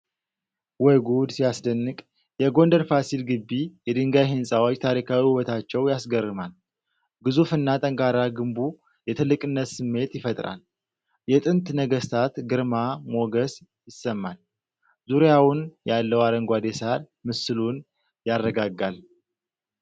ወይ ጉድ ሲያስደንቅ! የጎንደር ፋሲል ግቢ የድንጋይ ህንፃዎች ታሪካዊ ውበታቸው ያስገርማል። ግዙፍ እና ጠንካራ ግንቡ የትልቅነት ስሜት ይፈጥራል። የጥንት ነገስታት ግርማ ሞገስ ይሰማል። ዙሪያውን ያለው አረንጓዴ ሣር ምስሉን ያረጋጋል።